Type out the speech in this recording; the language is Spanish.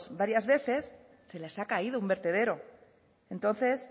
varias veces se les ha caído un vertedero entonces